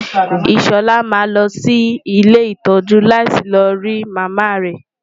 Ìṣọ̀lá máa lọ sí ilé ìtọ́jú láti lọ rí Màmá rẹ.